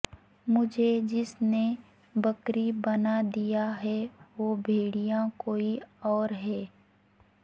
مجھے جس نے بکری بنادیا ہے وہ بھیڑیا کوئی اور ہے